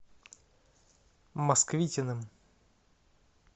москвитиным